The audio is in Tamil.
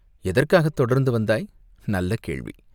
"எதற்காகத் தொடர்ந்து வந்தாய்?" "நல்ல கேள்வி!